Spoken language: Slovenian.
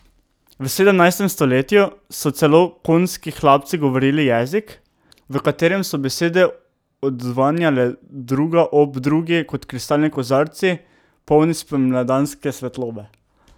V sedemnajstem stoletju so celo konjski hlapci govorili jezik, v katerem so besede odzvanjale druga ob drugi kot kristalni kozarci, polni spomladanske svetlobe.